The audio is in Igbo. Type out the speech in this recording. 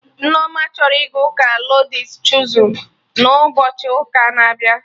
Nneoma chọrọ ịga ụka Lọds Chozun na ụbochi ụka na abịa